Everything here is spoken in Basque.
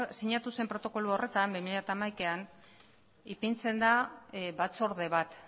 sinatu zen protokolo horretan bi mila hamaikan ipintzen da batzorde bat